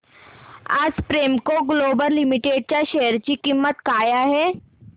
आज Premco Global Limited च्या share ची किंमत काय आहे